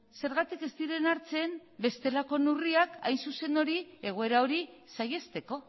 zergatik ez diren hartzen bestelako neurriak hain zuzen egoera hori saihesteko